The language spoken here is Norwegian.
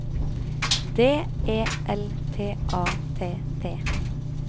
D E L T A T T